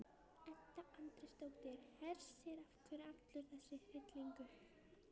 Edda Andrésdóttir: Hersir, af hverju allur þessi hryllingur?